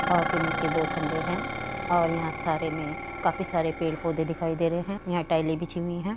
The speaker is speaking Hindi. और सीमेंट के दो है और यहाँ सारे में काफी सारे पेड़ पोधे दिखाई दे रहे है यहाँ टाइले बिछी हुई है।